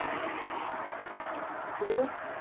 શું કીધું?